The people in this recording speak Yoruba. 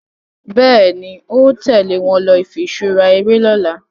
Béèni o tèlé wón ló ifiṣura eré lỌ̀la